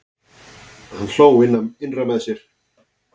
Hann hló innra með sér.